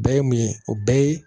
Bɛɛ ye mun ye o bɛɛ ye